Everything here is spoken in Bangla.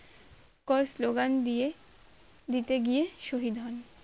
করে slogan দিয়ে দিতে গিয়ে শহীদ হন